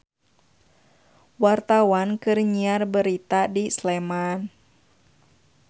Wartawan keur nyiar berita di Sleman